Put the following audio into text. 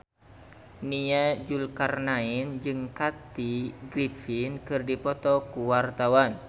Nia Zulkarnaen jeung Kathy Griffin keur dipoto ku wartawan